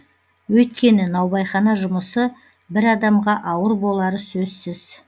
өйткені наубайхана жұмысы бір адамға ауыр болары сөзссіз